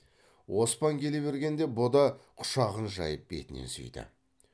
оспан келе бергенде бұ да құшағын жайып бетінен сүйді